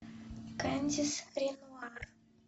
кандис ренуар